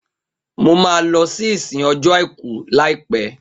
Mo ma lọ sí ìsìn ọjọ́ àìkú laipẹ